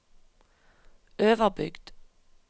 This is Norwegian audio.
Øverbygd